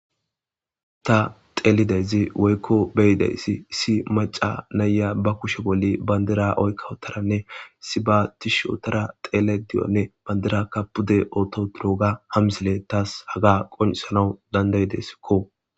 ta xeelidezi woykko beyideyssi issi maca nayya ba kushe bolli bayndira oykkawotaranne sibaatish otara xeele di7onne bandira ka pude oto turoga hamsile taas haga qonisanau dandayideskko